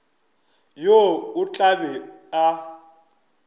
yo o tla be a